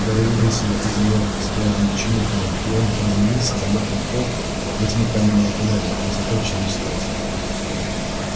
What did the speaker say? гарри выбросило из неё с влажным чмоканьем и он приземлился на мокрый пол во тьму каменного тоннеля высотой в человеческий рост